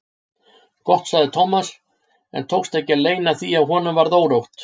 Gott sagði Thomas en tókst ekki að leyna því að honum varð órótt.